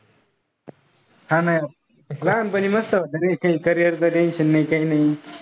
हा ना लहान पनी मस्त होतं रे काई carrier च tension नाही काई नाही.